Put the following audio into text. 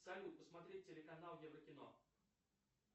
салют посмотреть телеканал еврокино